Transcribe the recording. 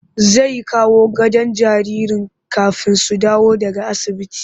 Zai kawo gadon jaririn kafin su dawo daga asibiti